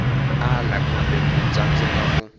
ala kumbe ku tsandzeka ku